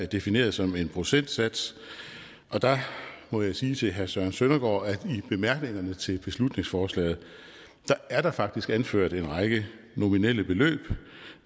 defineret som en procentsats og der må jeg sige til herre søren søndergaard at i bemærkningerne til beslutningsforslaget er der faktisk anført en række nominelle beløb